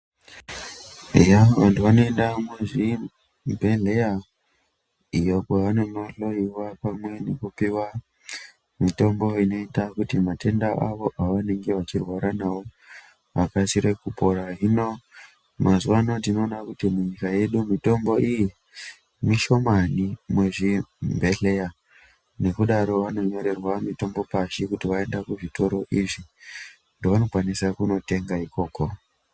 Eya vantu vanoenda muzvibhedhleya iyo kwevanondohloyiwa pamwe nekupiwa mitombo inota kuti matenda awo awanenge vachirwara nawo akasire kupora. Hino mazuwa ano tinona kuti munyika yedu mitombo iyi mishomani muzvibhedhleya. Nekudaro vanonyorerwa mitombo pashi kuti vaende kuzvitoro izvi zvavanokwanisa kutenga ikoko .